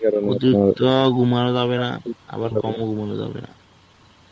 অতিরিক্ত ঘুমানো যাবে না. আবার কম ও ঘুমানো যাবে না.